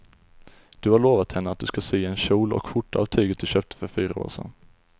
Du har lovat henne att du ska sy en kjol och skjorta av tyget du köpte för fyra år sedan.